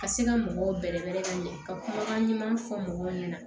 Ka se ka mɔgɔw bɛrɛbɛrɛ ka ɲɛ ka kumakan ɲuman fɔ mɔgɔw ɲɛna